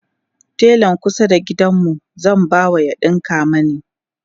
telan kusa da gidanmu zan ba ya ɗinka mani